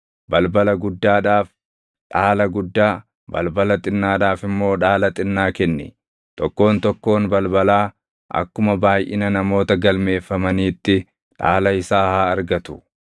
Balbala guddaadhaaf dhaala guddaa, balbala xinnaadhaaf immoo dhaala xinnaa kenni; tokkoon tokkoon balbalaa akkuma baayʼina namoota galmeeffamaniitti dhaala isaa haa argatu.